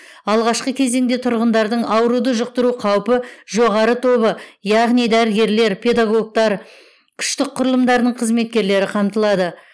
алғашқы кезеңде тұрғындардың ауруды жұқтыру қаупі жоғары тобы яғни дәрігерлер педагогтар күштік құрылымдарының қызметкерлері қамтылады